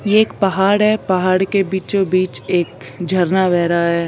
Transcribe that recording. ये एक पहाड़ है पहाड़ के बीचों बीच एक झरना बह रहा है।